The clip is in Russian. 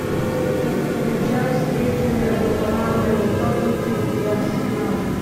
включай встречу между командами тоттенхэм и арсенал